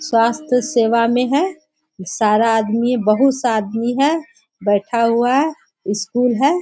स्वास्थ्य सेवा में है | सारा आदमी बहोत सा आदमी है बैठा हुआ स्कूल है।